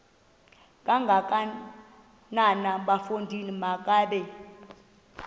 kangakanana bafondini makabe